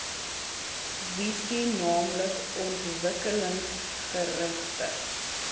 visie naamlik ontwikkelingsgerigte